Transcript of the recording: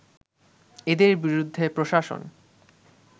এদের বিরুদ্ধে প্রশাসন